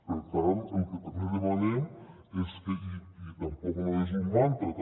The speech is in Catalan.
per tant el que també demanem és que i tampoc no és un mantra